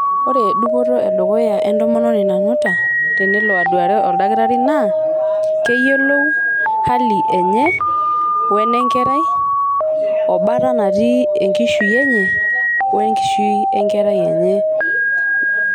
ore dupoto e dukuya entomononi nanuta tenelo aduare oldakitari naa keyiolou hali enye wenekerai oo bata natii enkishui enye wenkishui enkerai enye.